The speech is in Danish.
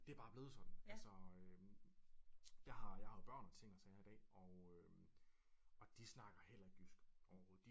Det er bare blevet sådan altså øh jeg har jeg har jo børn og ting og sager i dag og øh og de snakker heller ikke jysk overhovedet